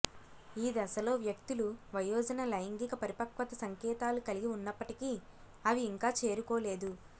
ఈ దశలో వ్యక్తులు వయోజన లైంగిక పరిపక్వత సంకేతాలు కలిగి ఉన్నప్పటికీ అవి ఇంకా చేరుకోలేదు